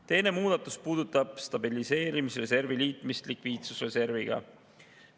Teine muudatus puudutab stabiliseerimisreservi liitmist likviidsusreserviga.